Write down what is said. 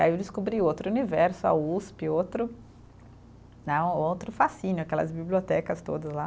Aí eu descobri outro universo, a Usp, outro né, outro fascínio, aquelas bibliotecas todas lá.